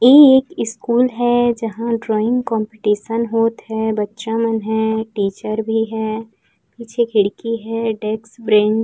इ एक ईस्कूल जहाँ दर्वाइंग कम्पटीशन होत है। बच्चा मन है टीचर भी है पीछे खिड़की है डेस्क बैंच --